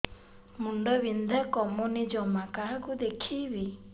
ମୁଣ୍ଡ ବିନ୍ଧା କମୁନି ଜମା କାହାକୁ ଦେଖେଇବି